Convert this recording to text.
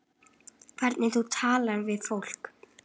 Hvernig þú talar við fólk.